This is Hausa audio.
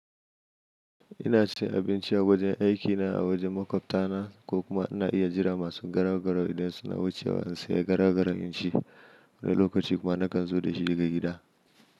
Ina siyan abinci a wajen aikina a wajen makwabtana ko kuma ina iya jira masu garau garau idan suna wucewa in saya garau garau in ci. Wani lokaci kuma nakan zo da shi daga gida.